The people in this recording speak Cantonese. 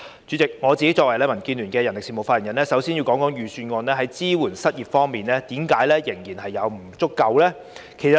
主席，我作為民建聯的人力事務發言人，首先要談談預算案在失業支援方面的不足之處。